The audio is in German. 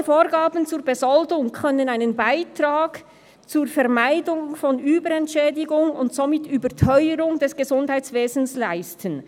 Solche Vorgaben zur Besoldung können einen Beitrag zur Vermeidung von Überentschädigung und somit Überteuerung des Gesundheitswesens leisten.